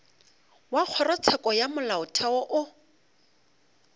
wa kgorotsheko ya molaotheo o